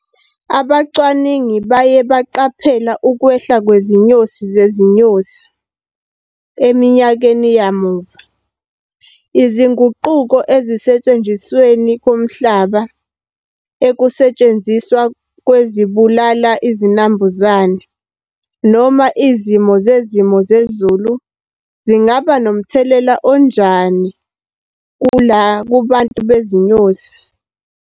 Abacwaningi baye baqaphela ukwehla kwezinyosi zezinyosi, eminyakeni yamuva. Izinguquko ezisetshenzisweni komhlaba, ekusetshenziswa kwezibulala izinambuzane, noma izimo zezimo zezulu zingaba nomthelela onjani kubantu bezinyosi?